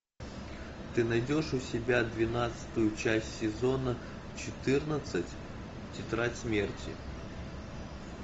ты найдешь у себя двенадцатую часть сезона четырнадцать тетрадь смерти